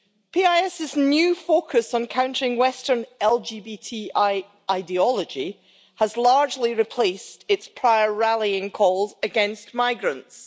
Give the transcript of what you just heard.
PiS's new focus on countering western LGBTI ideology has largely replaced its prior rallying calls against migrants.